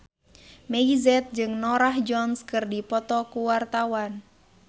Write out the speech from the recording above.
Meggie Z jeung Norah Jones keur dipoto ku wartawan